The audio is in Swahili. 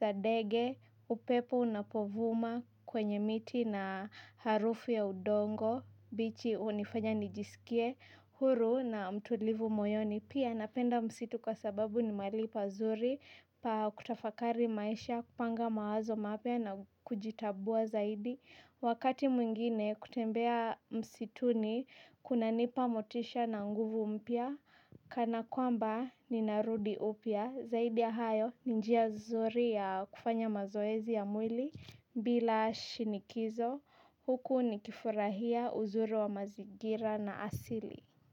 za ndege upepo unapovuma kwenye miti na harufu ya udongo bichi hunifanya nijisikie huru na mtulivu moyoni pia napenda msitu kwa sababu ni mahali pazuri pa kutafakari maisha kupanga mawazo mapya na kujitambua zaidi wakati mwingine kutembea msituni kuna nipa motisha na nguvu mpya kana kwamba ninarudi upya zaidi ya hayo ni njia nzuri ya kufanya mazoezi ya mwili bila shinikizo huku ni kifurahia uzuri wa mazingira na asili.